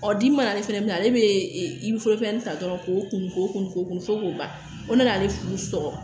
Ɔ di mana ale fana minɛ ale bɛ ta dɔrɔn k'o kun k'o kun ko kun fo k'o ban fo n'ale furu sɔgɔ